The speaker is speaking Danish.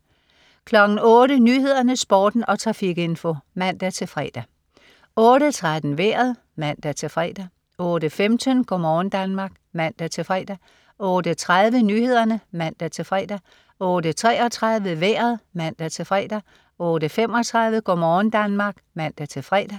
08.00 Nyhederne, Sporten og trafikinfo (man-fre) 08.13 Vejret (man-fre) 08.15 Go' morgen Danmark (man-fre) 08.30 Nyhederne (man-fre) 08.33 Vejret (man-fre) 08.35 Go' morgen Danmark (man-fre)